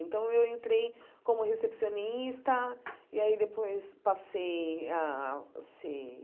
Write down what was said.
Então, eu entrei como recepcionista e aí depois passei a ser